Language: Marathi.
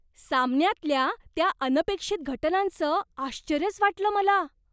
सामन्यातल्या त्या अनपेक्षित घटनांचं आश्चर्यच वाटलं मला.